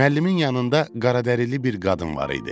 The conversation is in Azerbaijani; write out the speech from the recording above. Müəllimin yanında qaradərili bir qadın var idi.